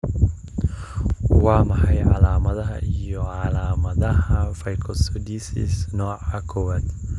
Waa maxay calaamadaha iyo calaamadaha Fucosidosis nooca kowaad?